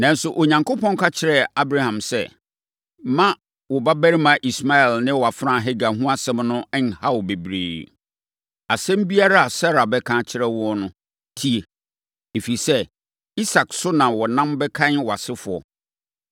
Nanso, Onyankopɔn ka kyerɛɛ Abraham sɛ, “Mma wo babarima Ismael ne wʼafenaa Hagar ho asɛm no nnha wo bebree. Asɛm biara a Sara bɛka akyerɛ wo no, tie, ɛfiri sɛ, Isak so na wɔnam bɛkan wʼasefoɔ.